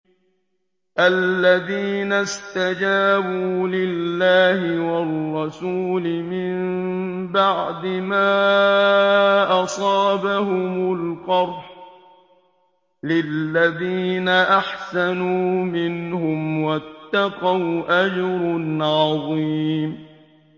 الَّذِينَ اسْتَجَابُوا لِلَّهِ وَالرَّسُولِ مِن بَعْدِ مَا أَصَابَهُمُ الْقَرْحُ ۚ لِلَّذِينَ أَحْسَنُوا مِنْهُمْ وَاتَّقَوْا أَجْرٌ عَظِيمٌ